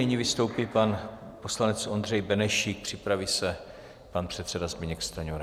Nyní vystoupí pan poslanec Ondřej Benešík, připraví se pan předseda Zbyněk Stanjura.